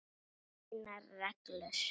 Þínar reglur?